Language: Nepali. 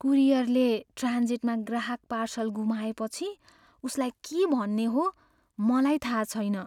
कुरियरले ट्रान्जिटमा ग्राहक पार्सल गुमाएपछि उसलाई के भन्ने हो मलाई थाहा छैन।